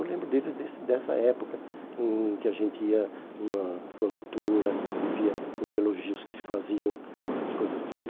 Eu lembro deles desse dessa época em que a gente ia numa formatura e via os elogios que se faziam, essas coisas todas.